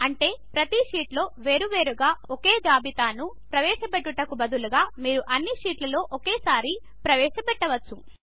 అంటే ప్రతి షీట్లో వేరువేరుగా ఒకే జాబితాను ప్రవేశ చేయుటకు బదులు మీరు అన్ని షీట్లలో ఒకే సారి ప్రవేశ చేయవచ్చు